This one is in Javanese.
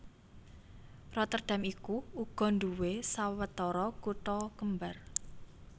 Rotterdam iku uga nduwé sawetara kutha kembar